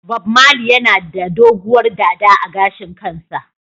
Bob marley yana da doguwar dada a gashin kansa.